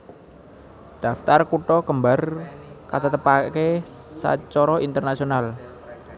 Daftar kutha kembar katetepaké sacara internasional